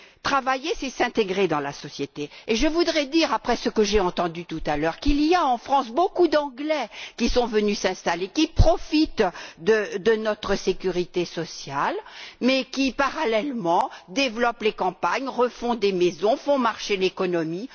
Travailler, c'est s'intégrer dans la société, et je voudrais dire, après ce que j'ai entendu tout à l'heure, qu'il y a beaucoup d'Anglais qui sont venus s'installer en France, qui profitent certes de notre sécurité sociale, mais qui, parallèlement, développent les campagnes, refont des maisons, font marcher l'économie.